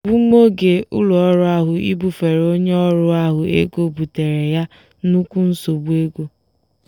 egbumoge ụlọọrụ ahụ ibufere onye ọrụ ha ego buteere ya nnukwu nsogbu ego.